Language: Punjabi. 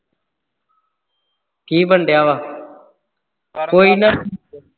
ਕੀ ਬਣਨ ਦਿਆ ਵਾਂ। ਕੋਈ ਨਾ